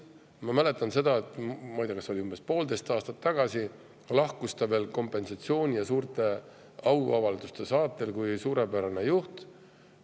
Ma mäletan – ma ei tea, äkki see oli umbes poolteist aastat tagasi –, et ta lahkus kompensatsiooni ja suurte auavalduste saatel kui suurepärane juht.